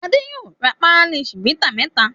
Adé yóò ra pálí Chivita mẹ́ta.